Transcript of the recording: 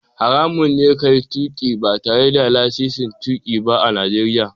Haramun ne ka yi tuƙi ba tare da lasisin tuƙi ba a Najeriya.